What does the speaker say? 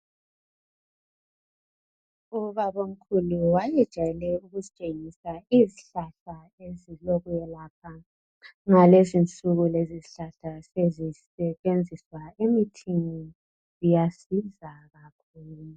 Ubabamkhulu wayejayele ukusitshengisa izihlahla ezilokwelaphela. Ngalezinsuku lezi zihlahla sezisetshenziswa emithini , iyasiza kakhulu.